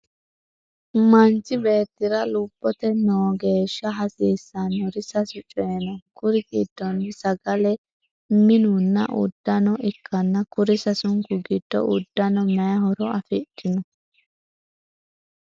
Manchi beetira lobote noogeesha hasiisanori sasu coyi no kuri gidonni sagale mununna udodano ikanna kuri sasunku gidonni udano mayi horo afidhino?